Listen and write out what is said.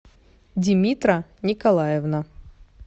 димитра николаевна